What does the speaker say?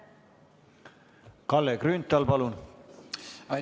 Kalle Grünthal, palun!